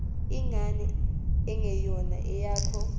ingane engeyona eyakho